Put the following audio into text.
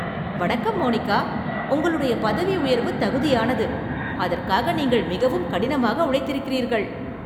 வணக்கம், மோனிகா, உங்களுடைய பதவி உயர்வு தகுதியானது, அதற்காக நீங்கள் மிகவும் கடினமாக உழைத்திருக்கிறீர்கள்.